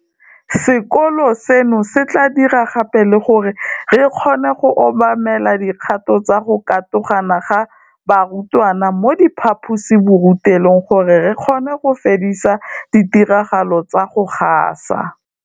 Sekolo seno se tla dira gape le gore re kgone go obamela dikgato tsa go katogana ga barutwana mo diphaposiborutelong gore re kgone go fedisa ditiragalo tsa go gasa